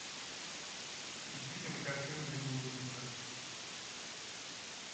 ищи кинокартину вид на убийство